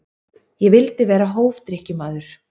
Ég vildi vera hófdrykkjumaður.